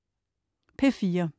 P4: